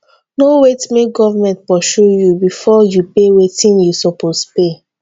no wait make government pursue you before you pay wetin you suppose pay.